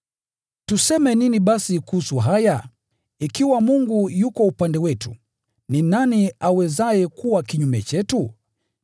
Tuseme nini basi kuhusu haya? Ikiwa Mungu yuko upande wetu, ni nani awezaye kuwa kinyume chetu?